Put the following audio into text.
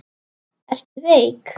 Ertu veik?